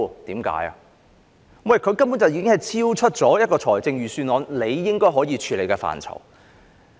因為此事根本超出預算案可以處理的範疇。